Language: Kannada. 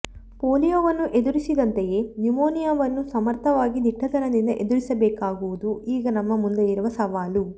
ಪೋಲಿಯೊವನ್ನು ಎದುರಿಸಿದಂತೆಯೇ ನ್ಯುಮೋನಿಯಾವನ್ನೂ ಸಮರ್ಥವಾಗಿ ದಿಟ್ಟತನದಿಂದ ಎದುರಿಸಬೇಕಾಗಿರುವುದು ಈಗ ನಮ್ಮ ಮುಂದೆ ಇರುವ ಸವಾಲು